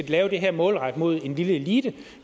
lave det her målrettet mod en lille elite